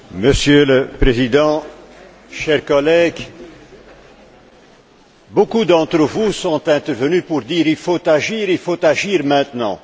Monsieur le Président, chers collègues, beaucoup d'entre vous sont intervenus pour dire Il faut agir, il faut agir maintenant.